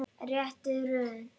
Rétta röðin.